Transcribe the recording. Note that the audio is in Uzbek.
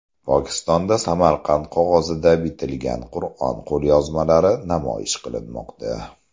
Pokistonda Samarqand qog‘ozida bitilgan Qur’on qo‘lyozmalari namoyish qilinmoqda.